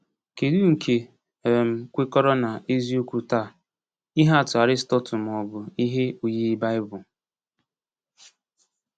Kedu nke um kwekọrọ na eziokwu taa — ihe atụ Aristotle ma ọ bụ ihe oyiyi Baịbụl?